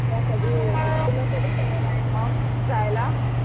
तुला कधी जायला?